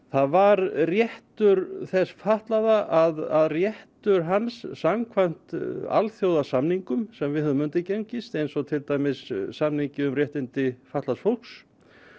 það var réttur þess fatlaða að réttur hans samkvæmt alþjóðasamningum sem við höfum undirgengist eins og til dæmis samningi um réttindi fatlaðs fólks